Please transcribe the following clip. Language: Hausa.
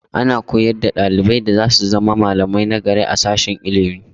Ana koyar da ɗalibai yadda za su zama malamai nagari a sashen ilimi.